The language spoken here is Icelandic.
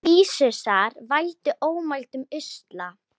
Vírusar valda ómældum usla.